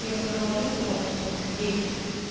и вот она ложится там часов в десять